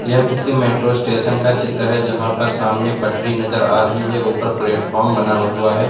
यह किसी metro station का चित्र है जहां पर सामने पटरी नजर आ रही है ऊपर प्लेटफार्म बना हुआ है।